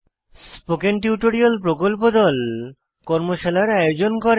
spoken tutorial প্রকল্প দল কর্মশালার আয়োজন করে